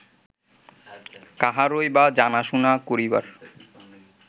কাহারই বা জানাশুনা করিবার